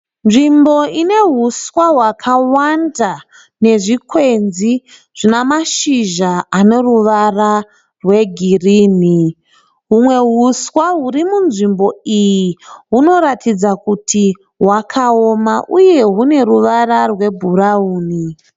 Nzvimbo ine huswa hwakawanda nezvikwenzi zvine mashizha aneruva rwegirini. Humwe huswa huri munzvimbo iyi hunoratidza kuti hwakaoma uye hune ruvara rwebhurauni.